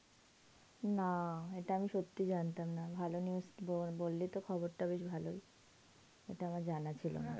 না, এটা আমি সত্যি জানতাম না. ভালো news বললি তো, খবরটা বেশ ভালোই. এটা আমার জানা ছিল না.